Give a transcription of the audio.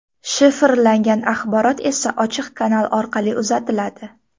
Shifrlangan axborot esa ochiq kanal orqali uzatiladi.